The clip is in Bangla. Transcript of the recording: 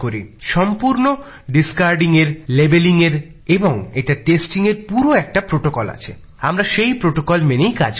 সম্পূর্ণ নমুনা সংগ্রহ লেবেল লাগানো এবং এটার নমুনা পরীক্ষার পুরো একটা নিয়ম আছে আমরা সেই নিয়ম মেনেই কাজ করি